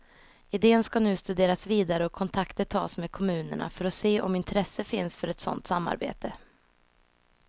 Idén skall nu studeras vidare och kontakter tas med kommunerna för att se om intresse finns för ett sådant samarbete.